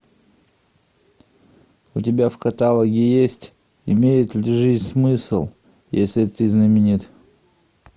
у тебя в каталоге есть имеет ли жизнь смысл если ты знаменит